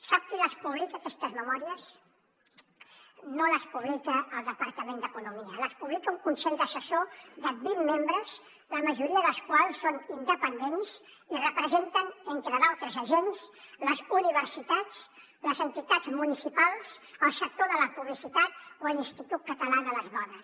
sap qui les publica aquestes memòries no les publica el departament d’economia les publica un consell assessor de vint membres la majoria dels quals són independents i representen entre d’altres agents les universitats les entitats municipals el sector de la publicitat o l’institut català de les dones